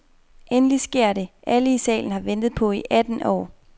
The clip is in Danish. Endelig sker dét, alle i salen har ventet på i atten år.